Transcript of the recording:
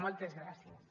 moltes gràcies